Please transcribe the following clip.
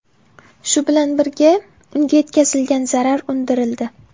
Shu bilan birga, unga yetkazilgan zarar undirildi.